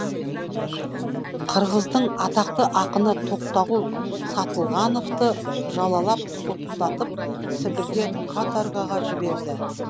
қырғыздың атақты ақыны тоқтағұл сатылғановты жалалап соттатып сібірге каторгаға жіберді